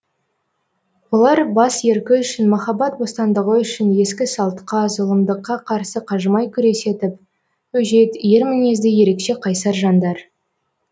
олар бас еркі үшін махаббат бостандығы үшін ескі салтқа зұлымдыққа қарсы қажымай күресетіп өжет ер мінезді ерекше қайсар жандар